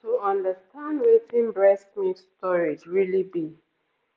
to understand wetin breast milk storage really be